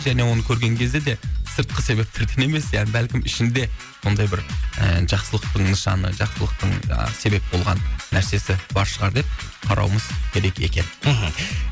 және оны көрген кезде де сыртқы себептерден емес я бәлкім ішінде сондай бір і жақсылықтың нышаны жақсылықтың жаңағы себеп болған нәрсесі бар шығар деп қарауымыз керек екен мхм